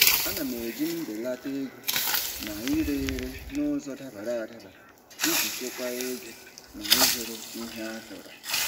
Ana m eji mbelata ego na ire ere n'ụzọ dabara adaba iji chekwaa ego na ịzụrụ ihe achọrọ.